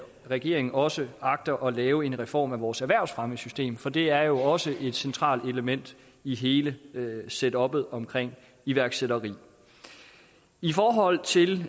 regeringen også agter at lave en reform af vores erhvervsfremmesystem for det er jo også et centralt element i hele setuppet omkring iværksætteri i forhold til